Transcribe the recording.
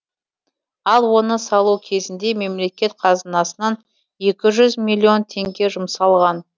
ал оны салу кезінде мемлекет қазынасынан екі жүз миллион теңге жұмсалған